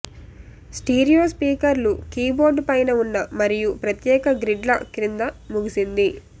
stereo స్పీకర్లు keyboard పైన ఉన్న మరియు ప్రత్యేక గ్రిడ్ల క్రింద ముగిసింది